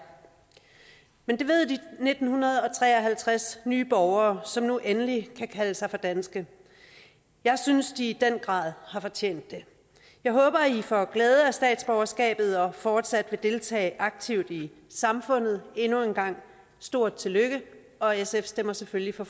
men det ved de nitten tre og halvtreds nye borgere som nu endelig kan kalde sig for danske jeg synes at de i den grad har fortjent det jeg håber at i får glæde af statsborgerskabet og fortsat vil deltage aktivt i samfundet endnu en gang stort tillykke og sf stemmer selvfølgelig for